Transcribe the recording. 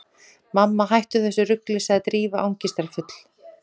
Mamma, hættu þessu rugli- sagði Drífa angistarfull.